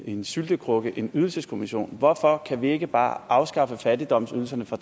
en syltekrukke en ydelseskommission hvorfor kan vi ikke bare afskaffe fattigdomsydelserne fra